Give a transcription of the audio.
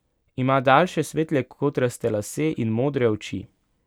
Ima daljše svetle kodraste lase in modre oči.